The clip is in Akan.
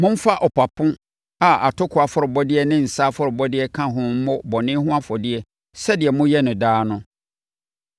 Momfa ɔpapo a atokoɔ afɔrebɔdeɛ ne nsã afɔrebɔdeɛ ka ho mmɔ bɔne ho afɔdeɛ sɛdeɛ moyɛ no daa no.